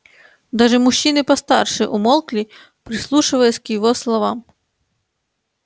даже мужчины постарше умолкли прислушиваясь к его словам